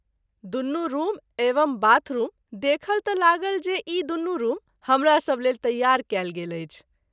दुनू रूम एवं bath room देखल त’ लागल जे ई दुनू रूम हमरा सभ लेल तैयार कएल गेल अछि।